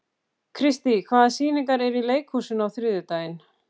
Kristý, hvaða sýningar eru í leikhúsinu á þriðjudaginn?